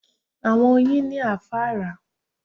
Àwọn Oyin ni afárá